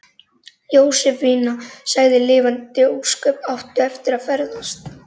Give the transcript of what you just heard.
Jósefína sagði: Lifandis ósköp áttu eftir að ferðast.